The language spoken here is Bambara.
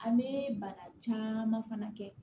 An bɛ bana caman fana kɛ